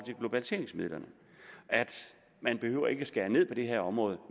globaliseringsmidlerne man behøver ikke at skære ned på det her område